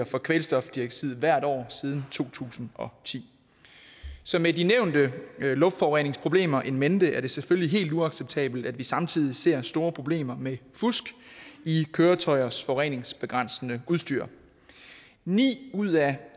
for kvælstofdioxid hvert år siden to tusind og ti så med de nævnte luftforureningsproblemer in mente er det selvfølgelig helt uacceptabelt at vi samtidig ser store problemer med fusk i køretøjers forureningsbegrænsende udstyr ni ud af